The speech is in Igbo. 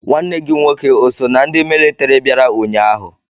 Nwanne gi nwoke o so na ndi mịlịtịrị biara ụnyaahụ?